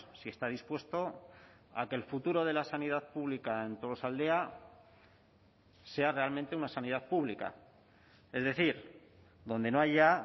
si está dispuesto a que el futuro de la sanidad pública en tolosaldea sea realmente una sanidad pública es decir donde no haya